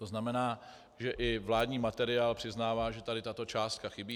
To znamená, že i vládní materiál přiznává, že tady tato částka chybí.